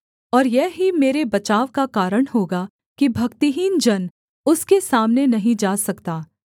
और यह ही मेरे बचाव का कारण होगा कि भक्तिहीन जन उसके सामने नहीं जा सकता